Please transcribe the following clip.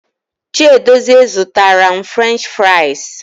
Chiedozie zụtara m French fraịz.